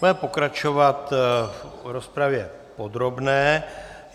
Budeme pokračovat v rozpravě podrobné.